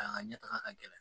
A ka ɲɛ taga ka gɛlɛn